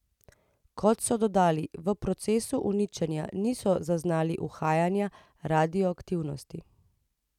Kot so dodali, v procesu uničenja niso zaznali uhajanja radioaktivnosti.